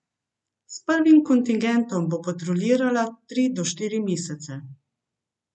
S prvim kontingentom bo patruljirala tri do štiri mesece.